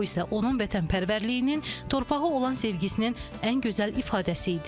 Bu isə onun vətənpərvərliyinin, torpağa olan sevgisinin ən gözəl ifadəsi idi.